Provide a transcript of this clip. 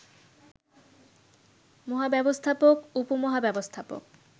মহাব্যবস্থাপক, উপমহাব্যবস্থাপক